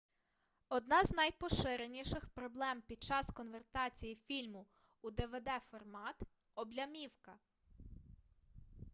одна з найпоширеніших проблем під час конвертації фільму у двд-формат облямівка